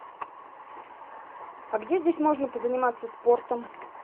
а где здесь можно позаниматься спортом